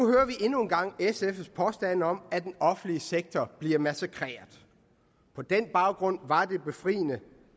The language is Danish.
endnu en gang sfs påstande om at den offentlige sektor bliver massakreret på den baggrund var det befriende